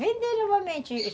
Vender novamente.